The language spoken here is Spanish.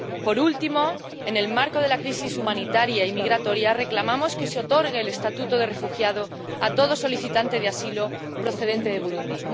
Por último, en el marco de la crisis humanitaria y migratoria, reclamamos que se otorgue el estatuto de refugiado a todo solicitante de asilo procedente de Burundi.